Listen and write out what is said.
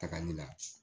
Tagali la